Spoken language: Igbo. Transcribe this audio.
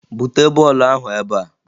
Bute bọọlụ ahụ ebea!